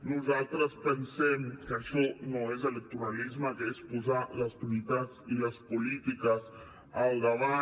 nosaltres pensem que això no és electoralisme que és posar les prioritats i les polítiques al davant